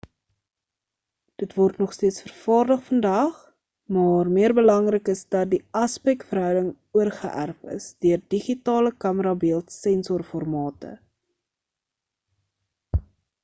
dit word nogsteeds vervaardig vandag maar meer belangrik is dat die aspek verhouding oorgeerf is deur digitale kamera beeld sensor formate